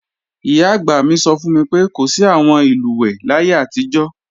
Ìyá-àgbà mi sọ fún mi pé, kò sí àwọn ìlùwẹ̀ẹ̀ láyé àtijọ́